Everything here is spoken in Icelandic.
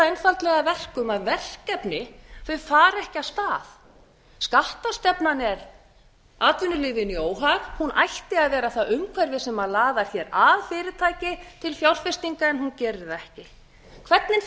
einfaldlega að verkum að verkefni fara ekki af stað skattastefnan er atvinnulífinu í óhag hún ætti að vera það umhverfi sem laðar hér að fyrirtæki til fjárfestinga en hún gerir það ekki